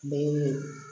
Ne ye